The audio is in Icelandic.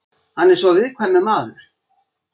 Hann er svo viðkvæmur maður.